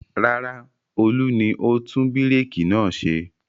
Rárá, Olú ni ó tún búrékì náà ṣe.